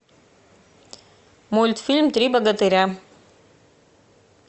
мультфильм три богатыря